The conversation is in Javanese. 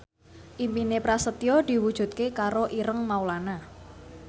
impine Prasetyo diwujudke karo Ireng Maulana